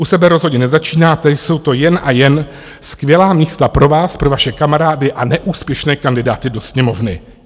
U sebe rozhodně nezačínáte, jsou to jen a jen skvělá místa pro vás, pro vaše kamarády a neúspěšné kandidáty do Sněmovny.